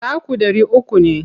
Taku ɗari uku ne.